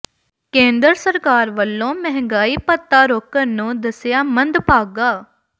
ਕੇਂਦਰ ਸਰਕਾਰ ਵੱਲੋਂ ਮਹਿੰਗਾਈ ਭੱਤਾ ਰੋਕਣ ਨੂੰ ਦੱਸਿਆ ਮੰਦਭਾਗਾ